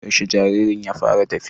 Yaushe jaririn ya fara tafiya?